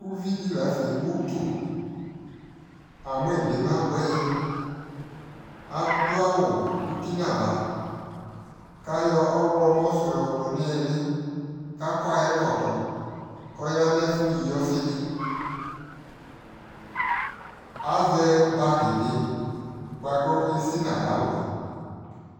Uvi di la ntɛ ɛwu tu Amui bi ma buɛ yɛAdu awu uti na vaKayɔ ɔɣlɔmɔ su yɔ du ni iliKakɔ ayɛ ɛkɔtɔ kɔ ya nu ɛfu yi ɔfi diAzɛ bagi bi buaku esi na ya wuɛ